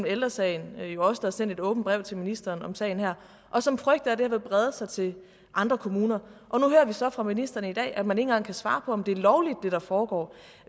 ældre sagen jo også der har sendt et åbent brev til ministeren om sagen her og som frygter at det her vil brede sig til andre kommuner og nu hører vi så fra ministeren i dag at man ikke engang kan svare på om det der foregår